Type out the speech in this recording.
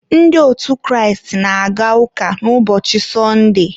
ndị otu Kraịst na-aga ụka ụbọchị sọndee.